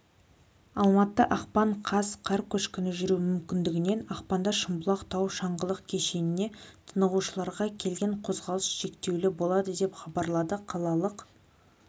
алматы ақпан қаз қар көшкіні жүруі мүмкіндігінен ақпанда шымбұлақ тау шаңғылық кешеніне тынығушыларға келуге қозғалыс шектеулі болады деп хабарлады қалалық